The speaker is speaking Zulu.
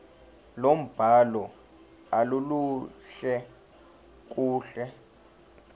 lombhalo aluluhle kahle